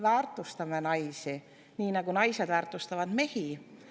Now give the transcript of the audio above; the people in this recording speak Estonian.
Väärtustame naisi, nii nagu naised väärtustavad mehi!